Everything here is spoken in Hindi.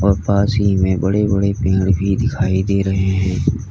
और पास ही में बड़े बड़े पेड़ भी दिखाई दे रहे हैं।